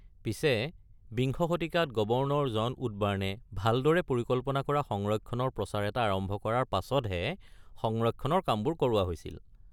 পিছে, বিংশ শতিকাত গৱৰ্ণৰ জন উডবাৰ্ণে ভালদৰে পৰিকল্পনা কৰা সংৰক্ষণৰ প্ৰচাৰ এটা আৰম্ভ কৰাৰ পাছতহে সংৰক্ষণৰ কামবোৰ কৰোৱা হৈছিল।